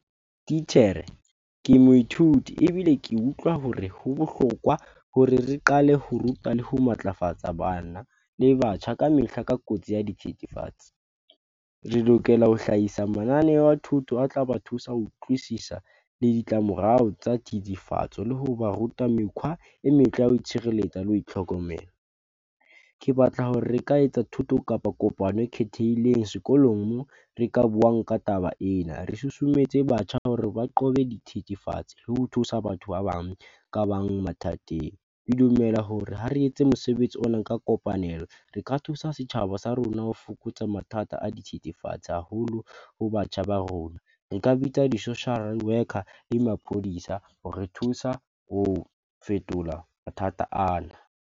Titjhere, ke moithuti ebile ke utlwa hore ho bohlokwa hore re qale ho ruta le ho matlafatsa bana le batjha ka mehla ka kotsi ya dithethefatsi. Re lokela ho hlahisa mananeo a thuto a tlaba thusa ho utlwisisa le ditlamorao tsa thethefatse le hoba ruta mekhwa e metle ya ho itshireletsa le ho itlhokomela. Ke batla hore re ka etsa thuto kapa kopano e khethehileng sekolong moo re ka buang ka taba ena. Re susumetse batjha hore ba qobe dithethefatsi le ho thusa batho ba bang ka bang mathateng. Ke dumela hore ha re etse mosebetsi ona ka kopanelo, re ka thusa setjhaba sa rona ho fokotsa mathata a dithethefatse haholo ho batjha ba rona. Re ka bitsa di-social worker le maphodisa hore re thusa ho fetola mathata ana.